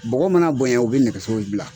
Bɔgɔ mana bonyɛ u bɛ nɛgɛso bila